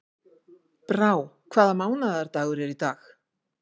Brá, hvaða mánaðardagur er í dag?